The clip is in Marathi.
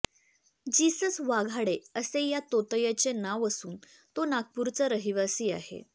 जीसस वाघाडे असे या तोतयाचे नाव असून तो नागपूरचा रहिवासी आहे